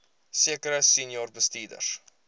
sekere senior bestuurders